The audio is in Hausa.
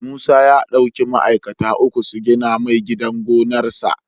Musa ya dauki ma'aikata uku su gina mai gidan gonar sa